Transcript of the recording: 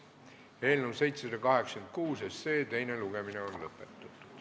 Eelnõu 786 teine lugemine on lõpetatud.